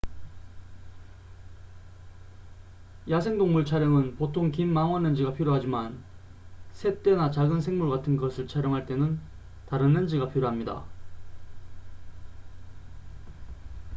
야생동물 촬영은 보통 긴 망원렌즈가 필요하지만 새떼나 작은 생물 같은 것을 촬영할 때는 다른 렌즈가 필요합니다